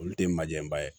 Olu tɛ majanba ye